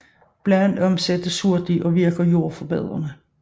Bladene omsættes hurtigt og virker jordforbedrende